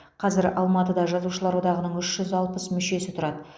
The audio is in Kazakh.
қазір алматыда жазушылар одағының үш жүз алпыс мүшесі тұрады